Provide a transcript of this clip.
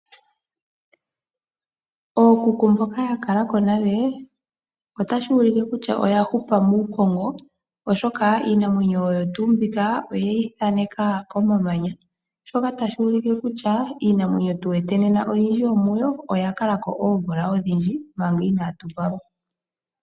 Ookuku mboka ya kala ko nale otashi ulike kutya oya hupa muukongo, oshoka iinamwenyo oyo tuu mbika oye yi thaaneka komamanya, shoka tashi ulike kutya iinamwenyo tu wete nena oyindji yomuyo oya kala ko oomvula odhindji, manga inatu valwa.